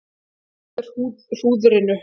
Bíðum eftir hrúðrinu